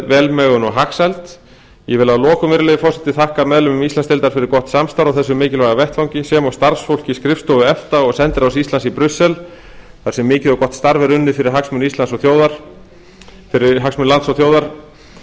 velmegun og hagsæld ég vil að lokum virðulegi forseti þakka meðlimum íslandsdeildar fyrir gott samstarf á þessum mikilvæga vettvangi sem og starfsfólki skrifstofu efta og sendiráðs íslands í brussel þar sem mikið og gott starf er unnið fyrir hagsmuni lands og þjóðar